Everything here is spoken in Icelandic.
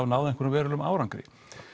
náð einhverjum verulegum árangri